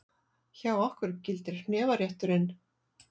Hjá okkur gildir hnefarétturinn!